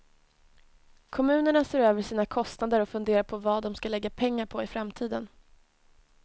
Kommunerna ser över sina kostnader och funderar på var de ska lägga pengar på i framtiden.